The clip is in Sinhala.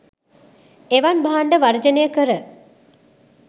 එවන් භාණ්ඩ වර්ජනය කර